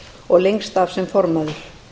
og lengst af sem formaður